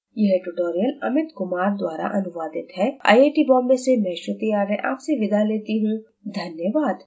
यह ट्यूटोरियल इं अमित कुमार द्वारा अनुवादित है आईआईटी बॉम्बे से मैं श्रुति आर्य आपसे विदा लेती हूँ धन्यवाद